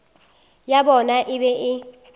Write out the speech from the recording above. ya bona e be e